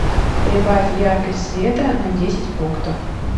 прибавь яркость света на десять пунктов